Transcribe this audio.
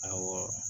Awɔ